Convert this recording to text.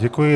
Děkuji.